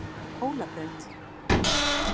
Hólabraut